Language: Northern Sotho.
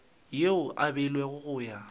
yeo e beilwego go ya